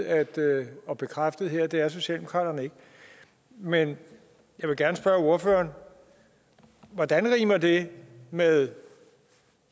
at vide og bekræftet her at det er socialdemokraterne ikke men jeg vil gerne spørge ordføreren hvordan rimer det med